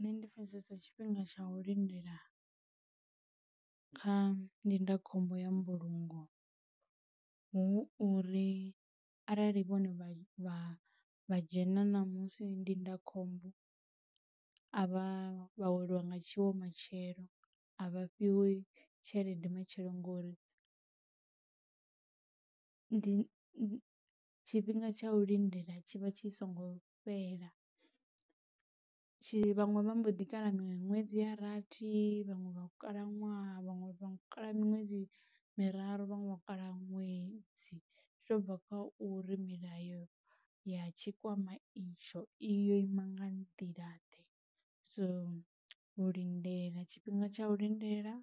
Nṋe ndi pfesesa tshifhinga tsha u lindela kha ndindakhombo ya mbulungo hu uri arali vhone vha vha dzhena ṋamusi ndindakhombo a vha vha weliwa nga tshiwo matshelo a vhafhiwi tshelede matshelo ngori ndi tshifhinga tsha u lindela tshi vha tshi songo fhela. Tshi vhaṅwe vha mbo ḓi kala miṅwedzi ya rathi vhaṅwe vha khalaṅwaha vhaṅwe vha kala miṅwedzi miraru vhanwe vho kala ṅwedzi zwi to bva kha uri milayo ya tshikwama itsho iyo ima nga nḓila ḓe so u lindela tshifhinga tsha u lindela